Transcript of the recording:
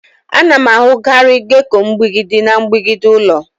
A na-ahụkarị gecko mgbidi na mgbidi ụlọ.